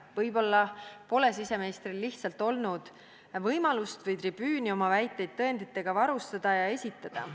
Võib-olla pole siseministril lihtsalt olnud võimalust või tribüüni oma väiteid tõenditega varustada ja neid esitada.